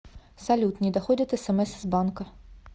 салют не доходят смс из банка